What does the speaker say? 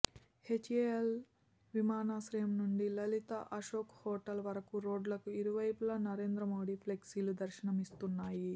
HAL విమానాశ్రయం నుండి Lalit Ashok hotel వరకు రోడ్లకు ఇరు వైపుల నరేంద్ర మోడీ ఫ్లెక్సీలు దర్శనం ఇస్తున్నాయి